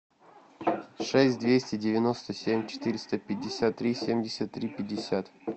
шесть двести девяносто семь четыреста пятьдесят три семьдесят три пятьдесят